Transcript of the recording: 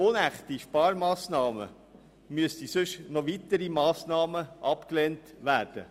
Wenn man diese Massnahmen ablehnte, müssten auch noch andere «unechte» Sparmassnahmen abgelehnt werden.